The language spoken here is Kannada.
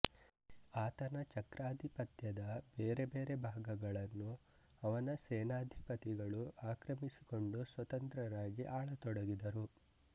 ಆತನ ಚಕ್ರಾಧಿಪತ್ಯದ ಬೇರೆ ಬೇರೆ ಭಾಗಗಳನ್ನು ಅವನ ಸೇನಾಧಿಪತಿಗಳು ಆಕ್ರಮಿಸಿಕೊಂಡು ಸ್ವತಂತ್ರರಾಗಿ ಆಳತೊಡಗಿದರು